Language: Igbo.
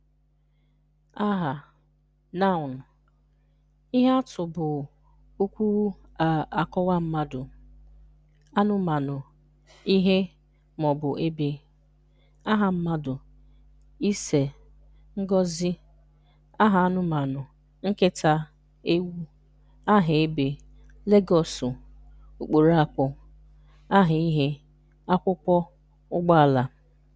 Aha (Noun): Ihe atụ bụ okwu a-akpọwa mmadụ, anụmanụ, ihe, ma ọ bụ ebe: Aha mmadụ: Ise, Ngozi. Aha anụmanụ: Nkita, Ewu. Aha ebe: Legọsụ, Ukporakwo. Aha ihe: Akwụkwọ, Ugboala.